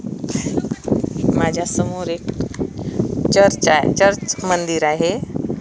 माझ्या समोर एक चर्च आहे चर्च मंदिर आहे.